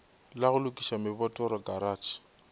la go lokiša mebotoro karatšhe